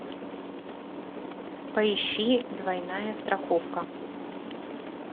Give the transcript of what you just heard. поищи двойная страховка